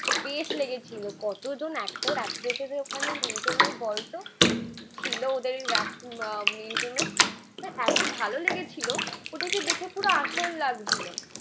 বেশ লেগেছিলো। কতজন এক্টর এক্ট্রেসেস ওখানে মিউজিয়ামে বলতো ছিল ওদের ওয়াক্স মিউজিয়ামে। এতো ভালো লেগেছিলো ওটাকে দেখে পুরো আসল লাগছিলো।